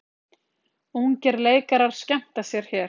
Ungir leikarar skemmta sér hér